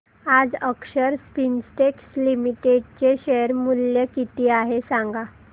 आज Akshar Spintex Limited चे share मूल्य किती आहे सांगा